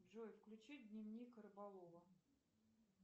джой включи дневник рыболова